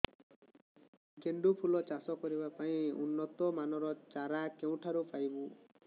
ଗେଣ୍ଡୁ ଫୁଲ ଚାଷ କରିବା ପାଇଁ ଉନ୍ନତ ମାନର ଚାରା କେଉଁଠାରୁ ପାଇବୁ